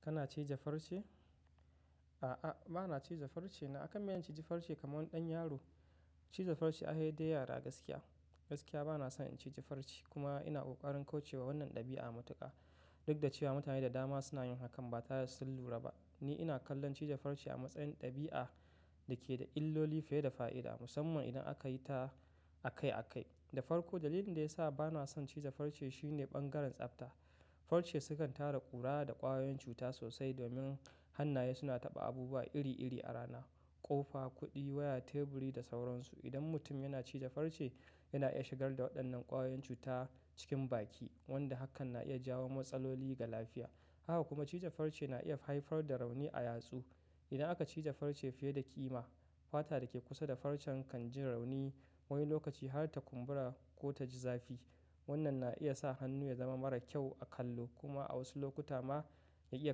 Kana cije farce? A'a, ba na cije farce na akan me zan cije farce kamar ɗan yaro? Cije farce ai sai dai yara gaskiya. Gaskiya ba na son in cije farce kuma ina ƙoƙarin kaucewa wannan ɗabi'a matuƙa. Duk da cewa mutane da dama suna yin hakan ba tare da sun lura ba. Ni ina kallon cije farce a matsayin ɗabi'a da ke da illoli fiye da fa'ida, musamman idan aka yi ta akai akai. Da farko dalilin da ya sa ba na son cije farce shine ɓangaren tsafta. Farce sukan tara ƙura da ƙwayoyin cuta sosai domin hannaye suna taɓa abubuwa iri iri a rana, ƙofa, kuɗi, waya, teburi da sauransu. Idan mutum yana cije farce, yana iya shigar da waɗannan ƙwayoyin cuta cikin baki, wanda hakan na iya jawo matsaloli ga lafiya. Haka kuma cije farce na iya haifar da rauni a yatsu. Idan aka cije farce fiye da ƙima, fata da ke kusa da farcen kan jin rauni wani lokaci har ta kumbura ko ta ji zafi. Wannan na iya sa hannu ya zama mara kyau a kallo kuma a wasu lokuta ma ya iya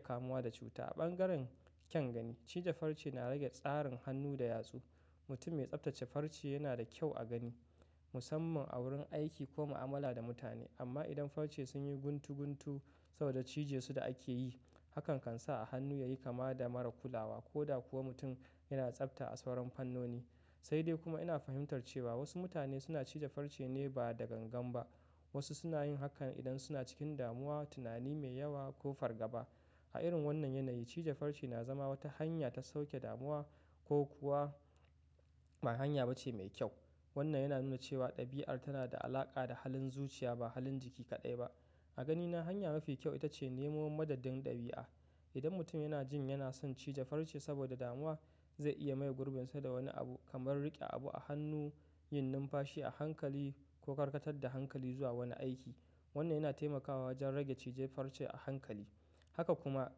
kamuwa da cuta. A ɓangaren kyan gani, cije farce na rage tsarin hannu da yatsu. Mutum mai tsaftace farce yana da kyau a gani musamman a wurin aiki ko mu'amala da mutane. Amma idan farce sun yi guntu guntu saboda cije su da ake yi, hakan kan sa a hannu ya yi kama da mara kulawa ko da kuwa mutum yana tsafta a sauran fannoni. Sai dai kuma ina fahimtar cewa wasu mutane suna cije farce ne ba da gangan ba. Wasu suna yin hakan idan suna cikin damuwa, tunani mai yawa ko fargaba. A irin wannan yanayi, cije farce na zama wata hanya ta sauƙe damuwa ko kuwa ba hanya ba ce mai kyau. Wannan yana nuna cewa ɗabi'ar tana da alaƙa da halin zuciya ba halin jiki kaɗai ba. A ganina hanya mafi kyau ita ce neman madadin ɗabi'a. Idan mutum yana jin yana son cije farce saboda damuwa, zai iya maye gurbin sa da wani abu kamar riƙe abu a hannu, yin numfashi a hankali ko karkatar da hankali zuwa wani aiki. Wannan yana taimakawa wajen rage cije farce a hankali. Haka kuma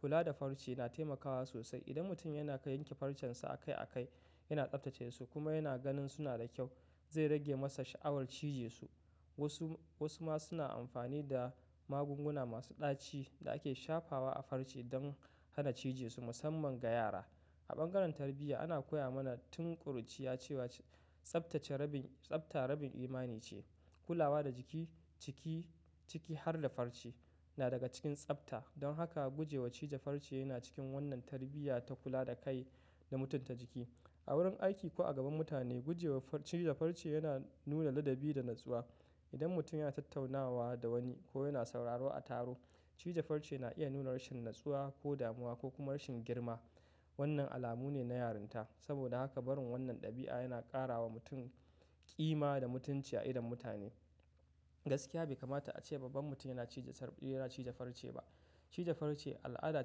kula da farce na taimakawa sosai. Idan mutum yana yanke farcensa akai akai, yana tsaftace su kuma yana ganin suna da kyau, zai rage masa sha'awar cije su. Wasu, wasu ma suna amfani da magunguna masu ɗaci da ake shafawa a farce don hana cije su musamman ga yara. A ɓangaren tarbiyya ana koya mana tun ƙuruciya cewa tsaftace rabin, tsafta rabin imani ce. Kulawa da jiki, ciki, ciki har da farce na daga cikin tsafta. Don haka guje wa cije farce yana cikin wannan tarbiyya ta kula da kai da mutunta jiki. A wurin aiki ko a gaban mutane gujewa cije farce yana nuna ladabi da natsuwa. Idan mutum yana tattaunawa da wani ko yana sauraro a taro, cije farce na iya nuna rashin natsuwa ko damuwa ko kuma rashin girma. Wannan alamu ne na yarinta. Saboda haka barin wannan ɗabi'a yana ƙara wa mutum ƙima da mutunci a idon mutane. Gaskiya bai kamata a ce babban mutum yana cije farce, yana cije farce ba. Cije farce al'ada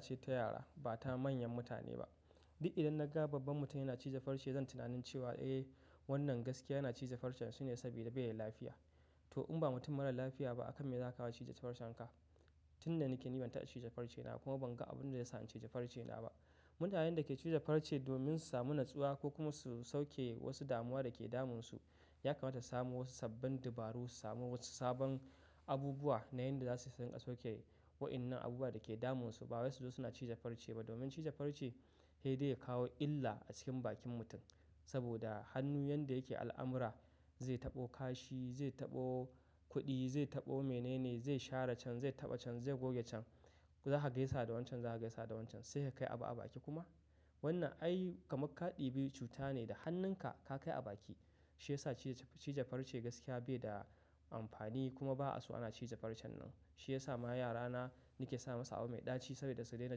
ce ta yara ba ta manyan mutane ba. Duk idan na ga babban mutum yana cije farce zan tunanin cewa eh wannan gaskiya yana cije farcen shi ne sabida bai da lafiya. To in ba mutum marar lafiya ba akan me zaka kawo cije farcen ka? Tin nan nake ni ban ta cije farce na kuma ban ga abun da ya sa in cije farce na ba. Mutanen da ke cije farce domin su samu natsuwa ko kuma su sauke wasu damuwa da ke damun su, ya kamata su samu wasu sabbin dabaru, su samu wasu sabon abubuwa na yanda za su iya sauke wa'innan abubuwa da ke damun su, ba wai su zo suna cije farce ba. Domin cije farce hede ya kawo illa a cikin bakin mutum. Saboda hannu yanda yake al'amura, zai taɓo kashi, zai taɓo kuɗi, zai taɓo mene ne, zai share can, zai taɓa can, zai goge can. Za ka gaisa da wancan, za ka gaisa da wancan. Sai ka kai a baki kuma? Wannan ai kamar ka ɗibi cuta ne da hannun ka, ka kai a baki. Shi ya sa cije farce gaskiya bai da amfani kuma ba'a so ana cije farce nan. Shi ya sa ma yara na nake sa masa abu mai ɗaci saboda su daina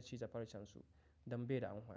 cije farcensu don bai da amfani.